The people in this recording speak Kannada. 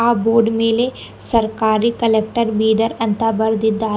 ಆ ಬೋರ್ಡ್ ಮೇಲೆ ಸರ್ಕಾರಿ ಕಲೆಕ್ಟರ್ ಬೀದರ್ ಅಂತ ಬರೆದಿದ್ದಾರೆ.